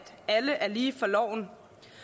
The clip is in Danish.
alle er lige for loven